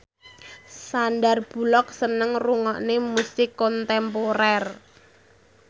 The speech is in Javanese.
Sandar Bullock seneng ngrungokne musik kontemporer